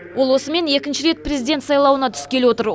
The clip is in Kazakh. ол осымен екінші рет президент сайлауына түскелі отыр